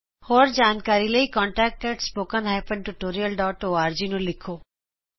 ਹੋਰ ਜਾਣਕਾਰੀ ਲਈ contactspoken tutorialorg ਤੇ ਲਿਖੋ